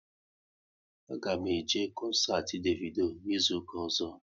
A ga m eje koncert Davido n'izuka ọzọ